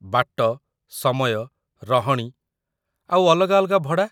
ବାଟ, ସମୟ, ରହଣି, ଆଉ ଅଲଗା ଅଲଗା ଭଡ଼ା ।